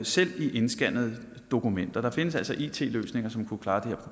selv i indscannede dokumenter der findes altså it løsninger som kunne klare det